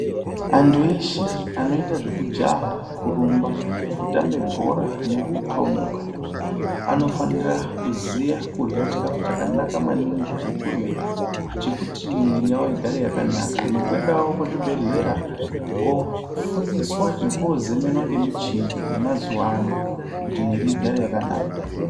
Antu eshe anoita zvekujaha, kurumba, kutambe bhora nekuthomuka anofanira kuziya chikhafu chakanaka maningi chekurya chekuti mwiri yavo igare yakanaka, nekuendawo kuzvibhedhlera koofundiswa nekoozemenwa nemichini yemazuva ano kuti mwiri igare yakanaka.